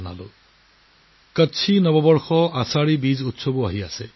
লগতে কচ্ছী নৱবৰ্ষ - আশাধি বীজৰ উৎসৱৰো শুভেচ্ছা জনালোঁ